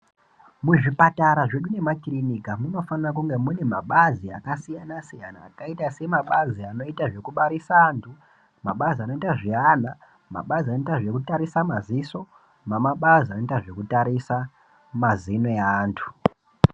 Muzvipatara zvedu nemakilinika munofanire kunge munabazi akasiyana siyana. Ayuta semabazi anoita zvekubarisa antu. Mabazi anondazviyana, mabazi anoyita zvekutarisa maziso , mamabazi amoyita zvekutarisa mazino e antu.